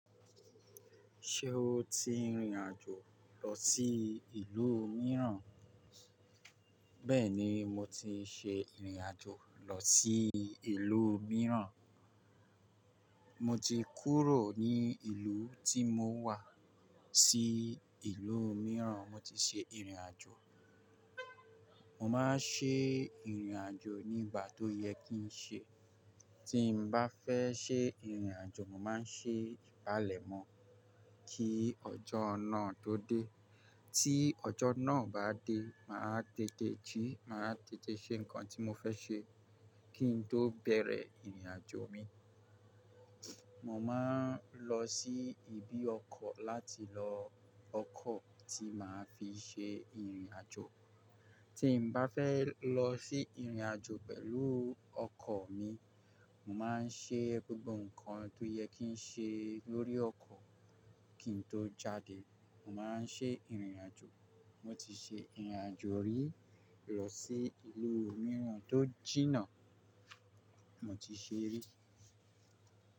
Ṣé o ti rìnrìn àjò lọ sí ìlú mìíràn? Bẹ́ẹ̀ni, mo ti ṣe ìrìn àjò lọ sí ìlú mìíràn. Mo ti kúrò ní ìlú tí mo wà sí ìlú mìíràn. Mo ti ṣe ìrìn àjò. Mo máa ń ṣe ìrìn àjò ní ìgbà tó yẹ kí n ṣe. Tí n bá fẹ́ ṣe ìrìn àjò, mo màá ṣe ìpalẹ̀mọ́ kí ọjọ́ náà tó dé. Tí ọjọ́ náà bá dé, màá tètè jí, màá tètè ṣe nǹkan tí mo fẹ́ ṣe kí n tó bẹ̀rẹ̀ ìrìn àjò mi. Mo máa ń lọ sí ibi ọkọ̀ láti lo wọkọ̀ tí màá fi ṣe ìrìn àjò. Tí n bá fẹ́ lọ sí ìrìn àjò pẹ̀lú ọkọ̀ mi, mo máa ń ṣe gbogbo nǹkan tó yẹ kí n ṣe lórí ọkọ̀ kí n tó jáde. Mo máa ń ṣe ìrìn àjò. Mo ti ṣe ìrìn àjò rí lọ sí ìlú mìíràn tó jìnnà. Mo ti ṣe rí.